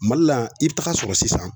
Mali la yan, i bi taga sɔrɔ sisan